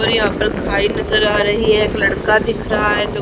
और यहा पर खाई नजर आ रही है एक लड़का दिख रहा है जो--